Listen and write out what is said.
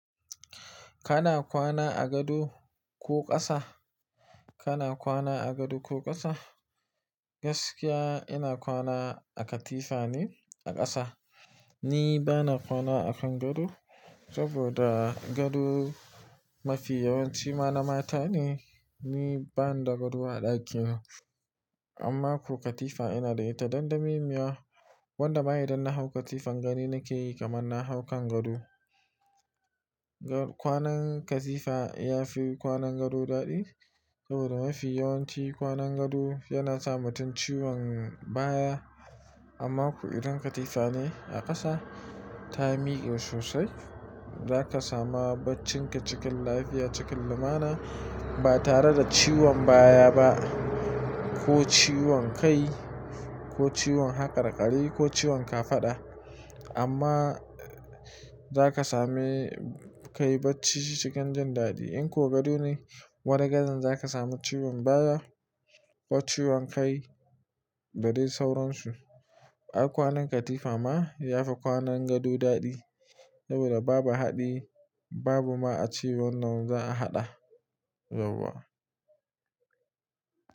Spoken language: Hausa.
Kana kwana a gado ko ƙasa? Kana kwana a gado ko ƙasa? Gaskiya ina kwana a katifa ne a ƙasa. Ni bana kwana a kan gado saboda gado mafi yawanci mana mata ne. Ni bani da gado a ɗakina amma ko katifa ina da ita. Dandamemiya wanda ma idan na hau katifan gani nake yi kamar na hau kan gado. Kwanan katifa ya fi kwanan gado daɗi saboda mafi yawanci kwanan gado yana sa mutum ciwon baya. Amma ko idan katifa ne a ƙasa ta miƙe sosai, za ka sama baccinka cikin lafiya, cikin lumana ba tare da ciwon baya ba ko ciwon kai ko ciwon haƙarƙari ko ciwon kafaɗa. Amma za ka sami kayi bacci cikin jin daɗi. In ko gado ne wani gadan za ka samu ciwon baya ko ciwon kai da dai sauransu. Ai kwanan katifa ma ya fi kwanan gado daɗi saboda babu haɗi babu ma ace wannan za a haɗa yauwa.